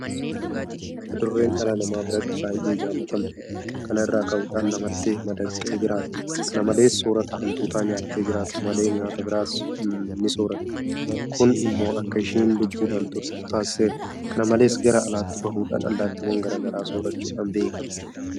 Adurreen dhala nama biratti baay'ee jaalatamtuudha. Kana irraa ka'uudhaan namatti madaqxee jiraatti. Kana malees soorrata Hantuuta nyaattee jiraattu malee nyaata biraas nisoorratti. Kun immoo akka isheen lubbuudhaan turtu taasiseera. Kana malees gara alaatti bahuudhaan allaattiiwwan garaa garaa soorrachuudhaan beekamti.